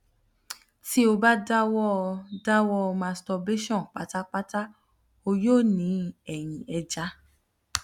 ti o ba dawọ dawọ masturbation patapata o yoo ni ẹyin eja